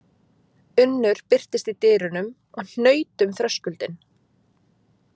Unnur birtist í dyrunum og hnaut um þröskuldinn.